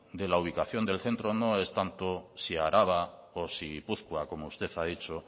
de la ubicación del centro no es tanto si araba o si gipuzkoa como usted ha dicho